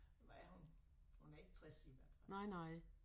Hvad er hun hun er ikke 60 i hvert fald